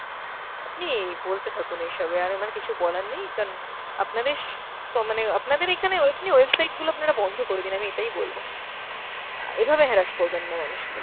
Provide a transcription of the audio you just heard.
আপনি এই বলতে থাকুন এইসবই, আর আমার কিছু বলার নেই কান আপনাদের ক~ মানে আপনাদের এখানে ওই আপনি website গুলো আপনারা বন্ধ করে দিন আমি এটাই বলব। অ্যাঁ এভাবে harass করবেন না মানুষকে।